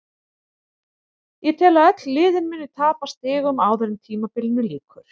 Ég tel að öll liðin muni tapa stigum áður en tímabilinu lýkur.